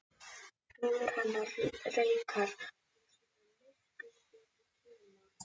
Hugur hennar reikar um sína myrkustu kima.